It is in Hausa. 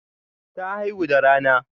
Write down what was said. Ta haihu da rana.